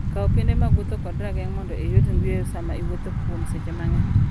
Kaw piende mag wuoth kod rageng' mondo iyud yueyo sama iwuotho kuom seche mang'eny.